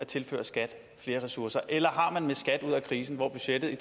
tilføre skat flere ressourcer eller har man med skat ud af krisen hvor budgettet i